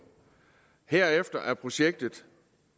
herefter er projektet